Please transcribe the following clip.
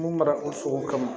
Mun mara o sogo kama